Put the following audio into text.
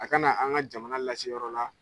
A kana an ka jamana lase yɔrɔ la